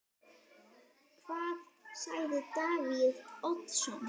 Hvað sagði Davíð Oddsson?